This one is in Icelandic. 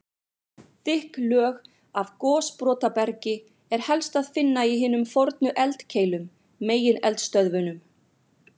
Þykk lög af gosbrotabergi er helst að finna í hinum fornu eldkeilum, megineldstöðvunum.